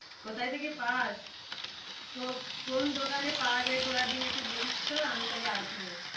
কোথায় থেকে পাস? কোন দোকানে পাওয়া যায় ঘোড়ার ডিম একটু বলিস তো? আমি তাহলে আসবো।